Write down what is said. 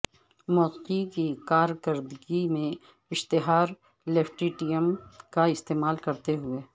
موسیقی کی کارکردگی میں اشتھار لیفٹیٹم کا استعمال کرتے ہوئے